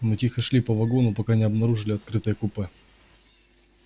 мы тихо шли по вагону пока не обнаружили открытое купе